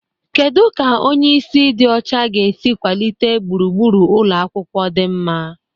Kedu ka onye isi ịdị ọcha ga-esi kwalite gburugburu ụlọ akwụkwọ dị mma?